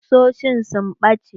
Ƙusoshin sun ɓace.